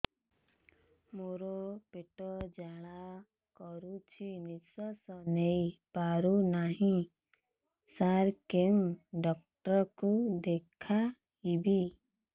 ମୋର ପେଟ ଜ୍ୱାଳା କରୁଛି ନିଶ୍ୱାସ ନେଇ ପାରୁନାହିଁ ସାର କେଉଁ ଡକ୍ଟର କୁ ଦେଖାଇବି